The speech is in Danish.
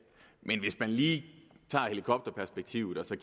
men hvis man lige tager helikopterperspektivet og